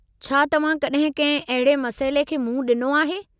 छा तव्हां कॾहिं कंहिं अहिड़े मसइले खे मुंहुं ॾिनो आहे?